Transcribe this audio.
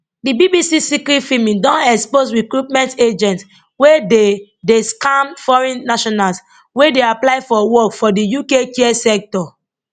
di bbc secret filming don expose recruitment agents wey dey dey scam foreign nationals wey dey apply to work for di uk care sector